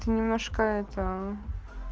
немножко этоо